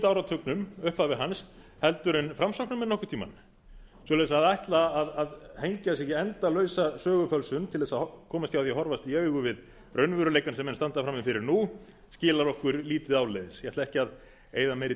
áratugnum upphafi hans heldur en framsóknarmenn nokkurn tíma svoleiðis að ætla að hengja sig í endalausa sögufölsun til þess að komast hjá því að horfast í augu við raunveruleikann sem menn standa frammi fyrir nú skilar okkur lítið áleiðis ég ætla ekki að eyða meiri